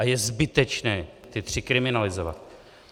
A je zbytečné ta tři kriminalizovat.